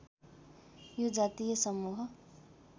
यो जातीय समूह